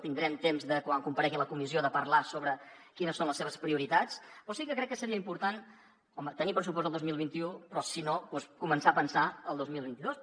tindrem temps quan comparegui a la comissió de parlar sobre quines són les seves prioritats però sí que crec que seria important home tenir pressupost el dos mil vint u però sinó doncs començar a pensar el dos mil vint dos